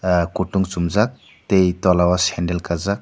ah kutung chungjak tgei tola o sendal kajak.